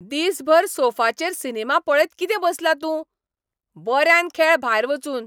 दिसभर सोफाचेर सिनेमा पळयत कितें बसला तूं? बऱ्यान खेळ भायर वचून!